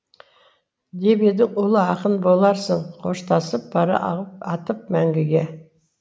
деп едің ұлы ақын боларсың қоштасып бара атып мәңгіге